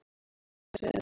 Ætla að færa sig um set